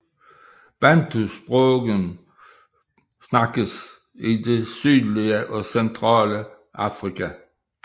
Bantusprogene tales i det sydlige og centrale Afrika